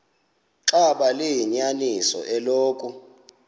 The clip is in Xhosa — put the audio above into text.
xaba liyinyaniso eloku